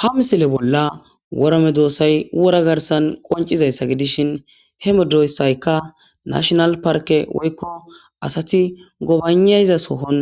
hamsile bolla wora medo oossay wora garsan qoncizayssa gidishin he medoyssayka nashonal parke woykko asati gobanayza sohon